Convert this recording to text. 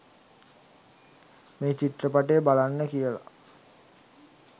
මේ චිත්‍රපටය බලන්න කියල